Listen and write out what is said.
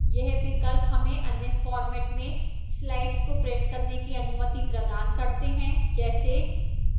यह विकल्प हमें अन्य फार्मेट में slides को prints करने की अनुमति प्रदान करते हैं जैसेः